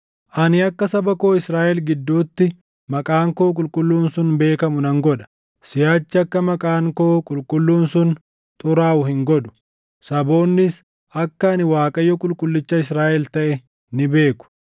“ ‘Ani akka saba koo Israaʼel gidduutti maqaan koo qulqulluun sun beekamu nan godha. Siʼachi akka maqaan koo qulqulluun sun xuraaʼu hin godhu; saboonnis akka ani Waaqayyo Qulqullicha Israaʼel taʼe ni beeku.